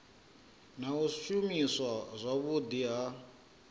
na u shumiswa zwavhudi ha